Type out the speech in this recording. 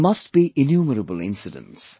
There must be innumerable incidents